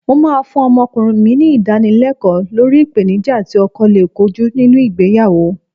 Mó máa fún ọmọkùnrin mi ní Ìdánilẹ́kọ̀ọ́ lórí ìpèníjà tí ọkọ lè kojú nínú ìgbéyàwó